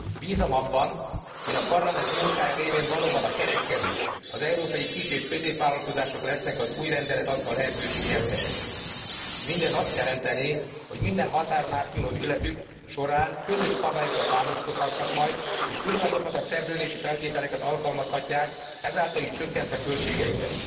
Bízom abban, hogy a Parlament munkája révén valóban a kereskedők, az európai kis és középvállalkozások lesznek az új rendelet adta lehetőség nyertesei. Mindez azt jelentené, hogy minden határon átnyúló ügyletük során közös szabályokra támaszkodhatnak majd, és ugyanazokat a szerződési feltételeket alkalmazhatják, ezáltal is csökkentve költségeiket.